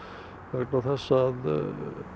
vegna þess að